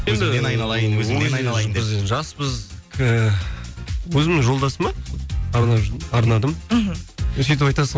енді өзімнің жолдасыма арнадым мхм енді сөйтіп айтасың